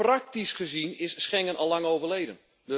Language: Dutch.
Praktisch gezien is Schengen allang overleden.